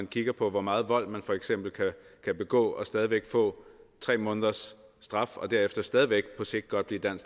kigge på hvor meget vold man for eksempel kan begå og stadig væk få tre måneders straf og derefter stadig væk på sigt godt blive dansk